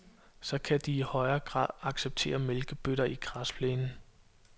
Så kan de i højere grad acceptere mælkebøtter i græsplænen.